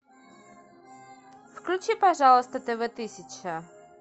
включи пожалуйста тв тысяча